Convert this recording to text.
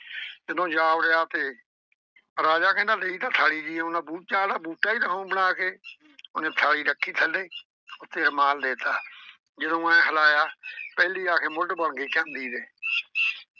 ਜਦੋਂ ਜਾ ਵੜਿਆ ਤੇ ਰਾਜਾ ਕਹਿੰਦਾ ਠੀਕ ਆ ਥਾਲੀ ਚ ਲਈ ਆਉਂਦਾ ਬੂਟਾ ਆਂਹਦਾ ਬੂਟਾ ਈ ਦੇਊਂ ਬਣਾ ਕੇ। ਉਹਨੇ ਥਾਲੀ ਰੱਖੀ ਥੱਲੇ ਉੱਤੇ ਰੁਮਾਲ ਦੇਤਾ ਜਦੋਂ ਆਏਂ ਹਿਲਾਇਆ, ਪਹਿਲੀ ਆ ਕੇ ਮੁੱਢ ਬਣ ਗਈ ਚਾਂਦੀ ਦੇ